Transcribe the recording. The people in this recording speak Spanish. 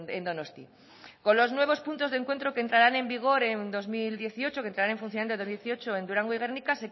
en donosti con los nuevos puntos de encuentro que entrarán en vigor en dos mil dieciocho que entrarán en funcionamiento en dos mil dieciocho en durango y gernika